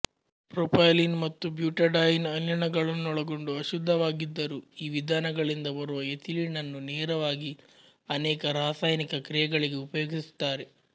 propylene ಮತ್ತು butadiene ಅನಿಲಗಳನ್ನೊಳಗೊಂಡು ಅಶುದ್ಧವಾಗಿದ್ದರೂ ಈ ವಿಧಾನಗಳಿಂದ ಬರುವ ಎಥಿಲೀನನ್ನು ನೇರವಾಗಿ ಅನೇಕ ರಾಸಾಯನಿಕ ಕ್ರಿಯೆಗಳಿಗೆ ಉಪಯೋಗಿಸುತ್ತಾರೆ